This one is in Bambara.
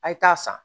A' ye taa san